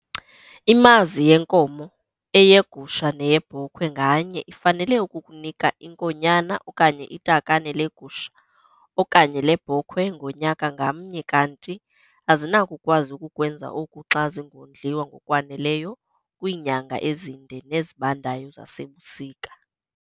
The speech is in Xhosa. Imazi yenkomo, eyegusha neyebhokhwe nganye ifanele ukukunika inkonyana okanye itakane legusha okanye lebhokhwe ngonyaka ngamnye kanti azinakukwazi ukukwenza oku xa zingondliwa ngokwaneleyo kwiinyanga ezinde nezibandayo zasebusika.